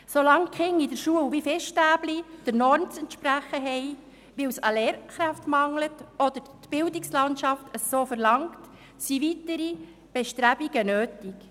Solange die Kinder in der Schule wie Fischstäbchen der Norm zu entsprechen haben, weil es an Lehrkräften mangelt oder weil es die Bildungslandschaft so verlangt, sind weitere Bestrebungen nötig.